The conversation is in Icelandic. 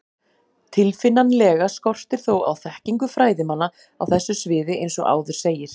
Tilfinnanlega skortir þó á þekkingu fræðimanna á þessu sviði eins og áður segir.